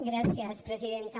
gràcies presidenta